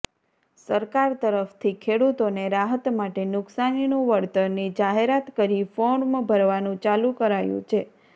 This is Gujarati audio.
સરકાર તરફથી ખેડૂતોને રાહત માટે નુકસાનીનું વળતરની જાહેરાત કરી ફોર્મ ભરાવાનુ ચાલુ કરાયુ છે